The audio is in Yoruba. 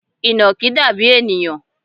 Ìnàkí dàbí ènìyàn